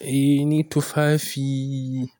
Eh ni tufafi,